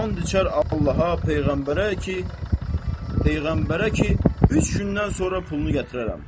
And içər Allaha, peyğəmbərə ki, peyğəmbərə ki, üç gündən sonra pulunu gətirərəm.